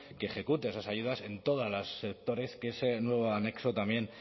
que ejecute esas ayudas en todos los sectores que ese nuevo anexo también